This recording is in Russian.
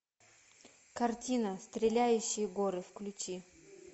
картина стреляющие горы включи